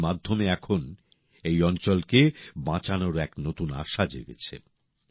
এর মাধ্যমে এখন এই অঞ্চলকে বাঁচানোর এক নতুন আশা জেগেছে